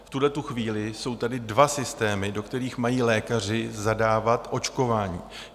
V tuhle chvíli jsou tady dva systémy, do kterých mají lékaři zadávat očkování.